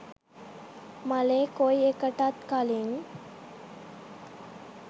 මලේ කොයි එකටත් කළින්